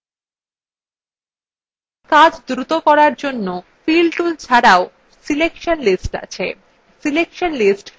কাজ দ্রুত করার জন্য fill tools ছাড়াও selection lists আছে এটি শুধুমাত্র পাঠ্য লেখার ক্ষেত্রেই ব্যবহার্য